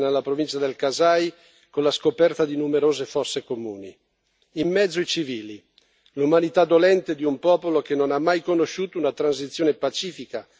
In mezzo i civili, l'umanità dolente di un popolo che non ha mai conosciuto una transizione pacifica del potere e che non usufruisce delle grandi ricchezze del sottosuolo.